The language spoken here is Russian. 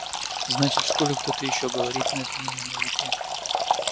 значит в школе кто-то ещё говорит на змеином языке